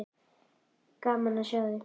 Gaman að sjá þig.